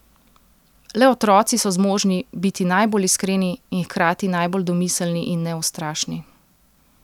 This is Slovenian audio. Le otroci so zmožni biti najbolj iskreni in hkrati najbolj domiselni in neustrašni.